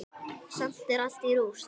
Samt er allt í rúst.